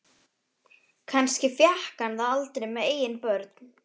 Kannski fékk hann það aldrei með eigin börn.